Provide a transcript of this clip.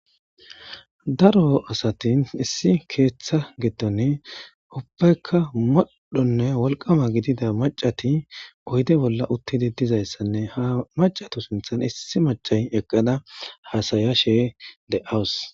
daro asatin issi keeththa gidone ubbaykka moddhonne wolqama gidida macati oyde bolla uttidi dizayssanne ha macatu sinthan issi macay eqqada hasaya she de awus